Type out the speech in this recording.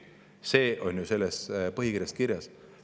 See on ju kirjas selle kiriku põhikirjas.